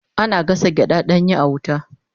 Ana gasa gyada danya a wuta